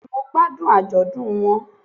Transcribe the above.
Bẹ́ẹ̀ni mo gbádùn àjọ̀dún won